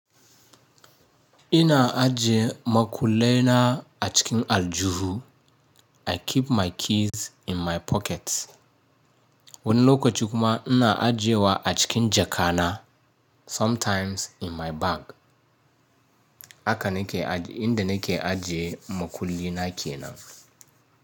Ina ajiye makullaina a cikin aljuhu I keep my keys in my pockets. Wani lokaci kuma ina ajiyewa a cikin jakana sometimes in my bag. Haka na ke, inda na ke ajiye makullina kenan.